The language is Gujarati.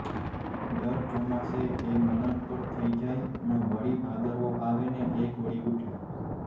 દર ચોમાસે એ મરણતોલ થઈ જાય પણ વળી ભાદરવો આવે ને એ કોળી ઊઠે